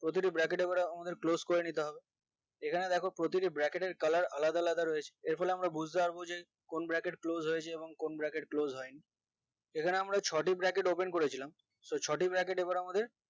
প্রতিটি bracket আমরা আমাদের close করে নিতে হবে এখানে দ্যাখো প্রতিটি bracket এর colur আলাদা আলাদা রয়েছে এর ফলে আমরা বুজতে পারবো যে কোন bracket closed হয়েছে এবং কোন bracket closed হয়নি এখানে আমরা ছয়টি bracket open করেছিলাম so ছটি bracket এবার আমাদের